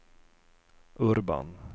Urban